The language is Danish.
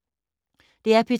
DR P2